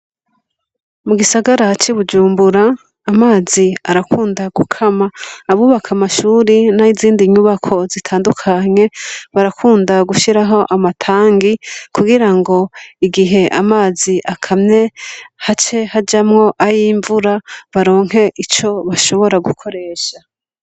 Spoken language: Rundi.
Mu gisagara c’i Bujumbura, amazi arakunda gukama. Abubaka amashure n’izindi nyubako zitandukanye barakunda gushiraho amatanagi kugira ngo igihe amazi akamye hace hajamo ay’imvura baronke ico bashobora gukoresha.